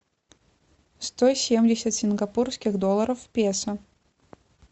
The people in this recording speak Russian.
сто семьдесят сингапурских долларов в песо